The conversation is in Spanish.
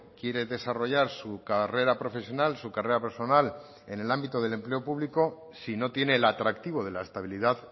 quiere desarrollar su carrera profesional su carrera personal en el ámbito del empleo público si no tiene el atractivo de la estabilidad